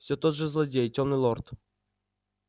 все тот же злодей тёмный лорд